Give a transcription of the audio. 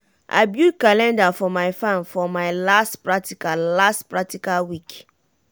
i build calendar for my farm for my last practical last practical week.